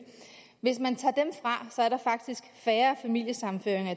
så var der faktisk færre familiesammenføringer